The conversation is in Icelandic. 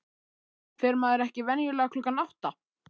Fer maður ekki venjulega klukkan átta?